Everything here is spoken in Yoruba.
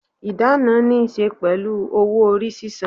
Ìdáná ní ṣe pẹ̀lú owó orí sísan.